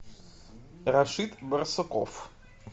рашид барсуков